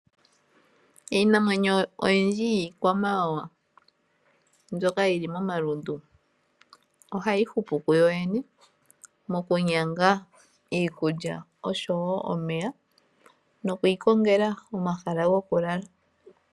Iinamwenyo oyindji iikwamawawa mbyoka yili momalundu ohayi hupu kuyoyene mokunyanga iikulya oshowo omeya, nokwiiikongela omahala gokulala.